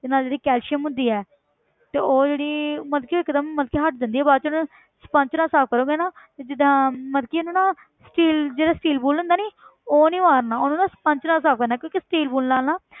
ਤੇ ਨਾਲ ਜਿਹੜੀ calcium ਹੁੰਦੀ ਹੈ ਤੇ ਉਹ ਜਿਹੜੀ ਮਤਲਬ ਕਿ ਉਹ ਇੱਕ ਦਮ ਮਤਲਬ ਕਿ ਹਟ ਜਾਂਦੀ ਹੈ ਬਾਅਦ ਚੋਂ ਨਾ sponge ਨਾਲ ਸਾਫ਼ ਕਰੋਂਗੇ ਨਾ ਤੇ ਜਿੱਦਾਂ ਮਤਲਬ ਕਿ ਇਹਨੂੰ ਨਾ steel ਜਿਹੜਾ steel bowl ਹੁੰਦਾ ਨੀ ਉਹ ਨੀ ਮਾਰਨਾ ਉਹਨੂੰ ਨਾ sponge ਨਾਲ ਸਾਫ਼ ਕਰਨਾ ਹੈ ਕਿਉਂਕਿ steel ਬੋਲ ਨਾਲ ਨਾ